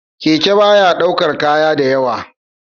Keke baya ɗaukar kaya da yawa